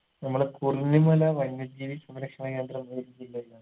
നമ്മളെ കുറിഞ്ഞിമല വന്യ ജീവി സംരക്ഷണ കേന്ദ്രം ഏത് ജില്ലയിലാണ്